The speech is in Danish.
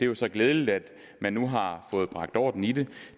jo så glædeligt at man nu har fået bragt orden i det